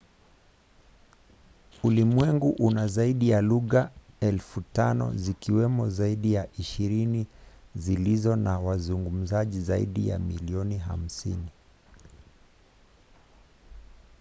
ulimwengu una zaidi ya lugha 5,000 zikiwemo zaidi ya ishirini zilizo na wazungumzaji zaidi ya milioni 50